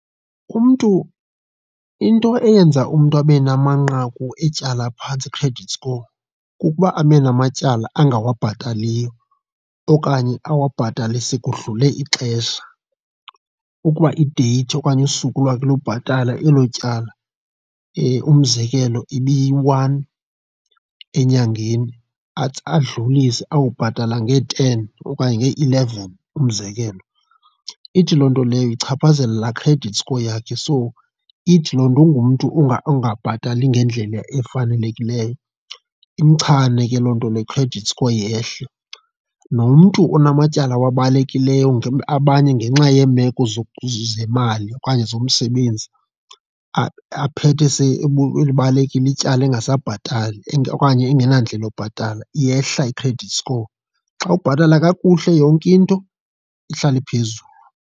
Umntu, into eyenza umntu abe namanqaku etyala aphantsi i-credit score kukuba abe namatyala angawabhatalaliyo okanye awabhatale sekudlule ixesha. Ukuba ideyithi okanye usuku lwakhe lobhatala elo tyala, umzekelo ibiyi-one enyangeni, athi adlulise awubhatala ngee-ten okanye ngee-eleven umzekelo. Ithi loo nto leyo ichaphazela laa credit score yakhe, so ithi loo nto ungumntu ongabhatali ngendlela efanelekileyo, imchane ke loo nto ne-credit score yehle. Nomntu onamatyala awabalekileyo abanye ngenxa yeemeko zemali okanye zomsebenzi, aphethe elibalekile ityala engasabhatali okanye engenandlela yobhatala, iyehla i-credit score. Xa ubhatala kakuhle yonke into ihlala iphezulu.